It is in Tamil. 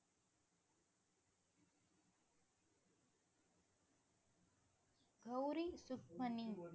கௌரி சுக்மணி